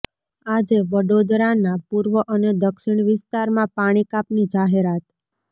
આજે વડોદરાના પૂર્વ અને દક્ષિણ વિસ્તારમાં પાણી કાપની જાહેરાત